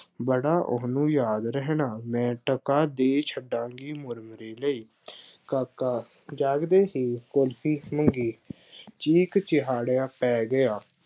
ਬੜਾ ਉਹਨੂੰ ਯਾਦ ਰਹਿਣਾ। ਮੈਂ ਟਕਾ ਦੇ ਛੱਡਾਂਗੀ ਮੁਰਮਰੇ ਲਈ। ਕਾਕਾ ਜਾਗਦੇ ਹੀ ਕੁਲਫੀ ਮੰਗੀ, ਚੀਕ ਚਿਹਾੜਾ ਪੈ ਗਿਆ।